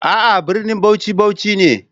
A'a, brinin Bauchi, Bauchi ne.